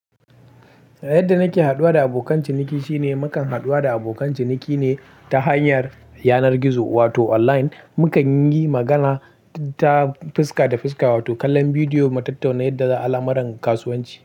Yadda nake haɗuwa da abokan ciniki shine mukan haɗuwa da abokan ciniki ne ta hanyar yanar gizo wato online, mukan yi magana ta fuska da fuska wato kallon bidiyo mu tattauna yadda alamar kasuwanci.